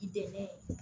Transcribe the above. I dɛmɛ